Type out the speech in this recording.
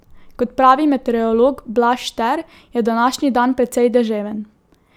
Kot pravi meteorolog Blaž Šter, je današnji dan precej deževen.